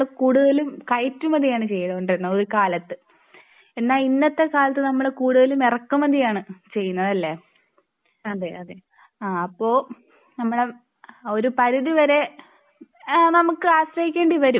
കൂടുതലും കയറ്റുമതിയാണ് ചെയ്തുകൊണ്ടിരുന്നത് ഒരു കാലത്ത്എന്നാ ഇന്നത്തെ കാലത്ത് നമ്മൾ കൂടുതലും ഇറക്കുമതിയാണ് ചെയ്യുന്നത് അല്ലെ? അപ്പോൾ നമ്മൾ ഒരു പരിധി വരെ നമുക്ക് ആശ്രയിക്കേണ്ടി വരും